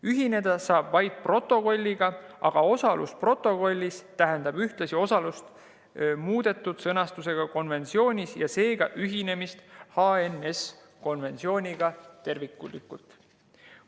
Ühineda saab vaid protokolliga, aga osalus protokollis tähendab ühtlasi osalust muudetud sõnastusega konventsioonis ja seega ühinemist HNS‑konventsiooniga terviklikult.